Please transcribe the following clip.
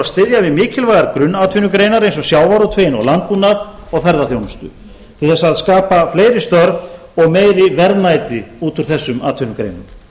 styðja við mikilvægar grunnatvinnugreinar eins og sjávarútveginn og landbúnaðinn og ferðaþjónustu til þess að skapa fleiri störf og meiri verðmæti út úr þessum atvinnugreinum